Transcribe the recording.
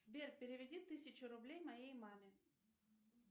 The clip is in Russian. сбер переведи тысячу рублей моей маме